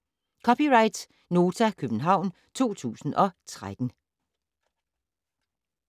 (c) Nota, København 2013